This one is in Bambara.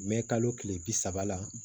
Mɛ kalo tile bi saba la